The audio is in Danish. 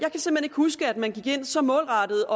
huske at man så målrettet